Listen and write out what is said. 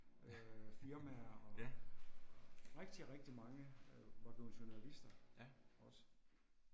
Øh firmaer og rigtig rigtig øh mange var blevet journalister også